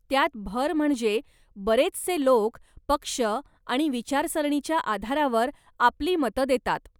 त्यात भर म्हणजे बरेचसे लोक पक्ष आणि विचारसरणीच्या आधारावर आपली मतं देतात.